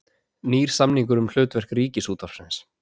Nýr samningur um hlutverk Ríkisútvarpsins